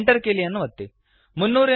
Enter ಕೀಲಿಯನ್ನು ಒತ್ತಿರಿ